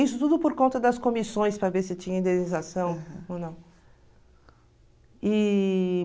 Isso tudo por conta das comissões, para ver se tinha indenização ou não.